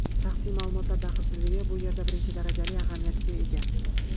Shaxsiy ma’lumotlar daxlsizligi bu yerda birinchi darajali ahamiyatga ega.